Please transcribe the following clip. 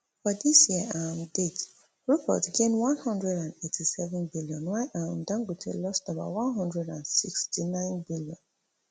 for di year to um date rupert gain one hundred and eighty-seven billion while um dangote lost about one hundred and sixty-ninebn